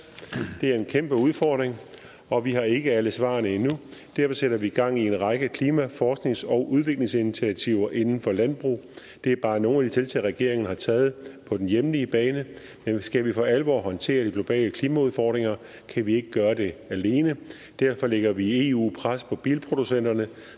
det er en kæmpe udfordring og vi har ikke alle svarene endnu derfor sætter vi gang i en række klimaforsknings og udviklingsinitiativer inden for landbrug det er bare nogle tiltag regeringen har taget på den hjemlige bane men skal vi for alvor håndtere de globale klimaudfordringer kan vi ikke gøre det alene derfor lægger vi i eu pres på bilproducenterne